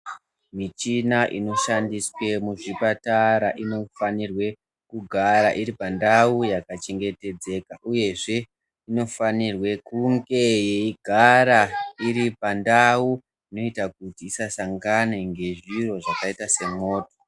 Michina inoshandiswe muzvipatara inofanirwe kugara iri pandau yakachengetedzeka, uyezve inofanirwe kunge yeigara iripandau inoita kuti isasangane ngezviro zvakaita semwoto.